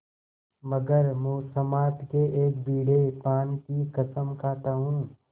मगर मुसम्मात के एक बीड़े पान की कसम खाता हूँ